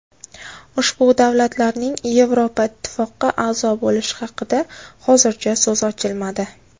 Ushbu davlatlarning Yevroittifoqqa a’zo bo‘lishi haqida hozircha so‘z ochilmadi.